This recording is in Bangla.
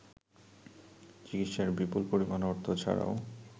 চিকিৎসার বিপুল পরিমাণ অর্থ ছাড়াও